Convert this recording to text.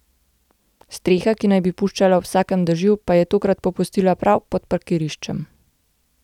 Streha, ki naj bi puščala ob vsakem dežju, pa je tokrat popustila prav pod parkiriščem.